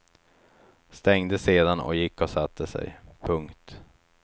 Stängde sedan och gick och satte sig. punkt